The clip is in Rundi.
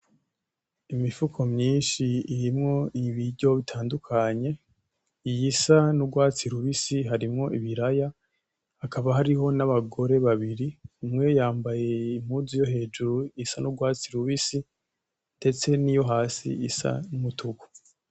Imifuko myishi irimwo ibiryo bitandukanye, iyisa n'urwatsi rubisi harimwo ibiraya hakaba hariho na bagore babiri ,umwe yambaye impuzu yohejuru isa n'urwatsi rubisi ndetse niyo hasi isa n'umutuku